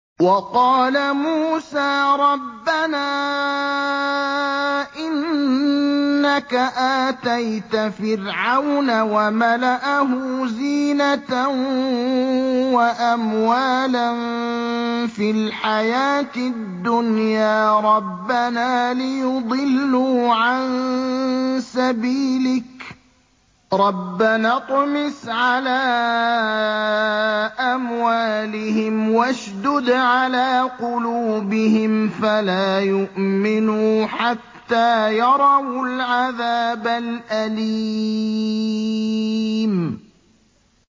وَقَالَ مُوسَىٰ رَبَّنَا إِنَّكَ آتَيْتَ فِرْعَوْنَ وَمَلَأَهُ زِينَةً وَأَمْوَالًا فِي الْحَيَاةِ الدُّنْيَا رَبَّنَا لِيُضِلُّوا عَن سَبِيلِكَ ۖ رَبَّنَا اطْمِسْ عَلَىٰ أَمْوَالِهِمْ وَاشْدُدْ عَلَىٰ قُلُوبِهِمْ فَلَا يُؤْمِنُوا حَتَّىٰ يَرَوُا الْعَذَابَ الْأَلِيمَ